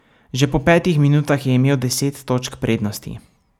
Že po petih minutah je imel deset točk prednosti.